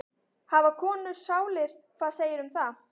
Hafa konur sálir, hvað segirðu um það?